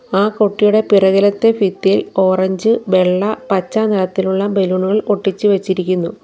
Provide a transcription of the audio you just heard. ആ കുട്ടിയുടെ പിറകിലത്തെ ഫിത്തിയിൽ ഓറഞ്ച് വെള്ള പച്ച നിറത്തിലുള്ള ബലൂണുകൾ ഒട്ടിച്ചു വെച്ചിരിക്കുന്നു.